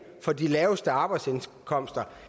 på de laveste arbejdsindkomster